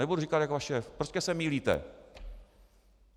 Nebudu říkat jak váš šéf, prostě se mýlíte.